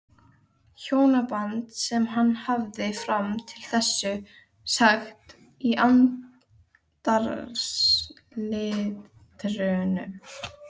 Hjónaband sem hann hafði fram til þessa sagt í andarslitrunum.